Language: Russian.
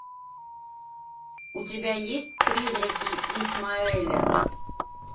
у тебя есть призраки исмаэля